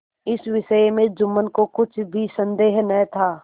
इस विषय में जुम्मन को कुछ भी संदेह न था